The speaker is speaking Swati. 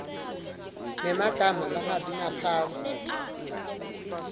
nemagama langabi ngaphasi